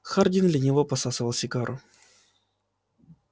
хардин лениво посасывал сигару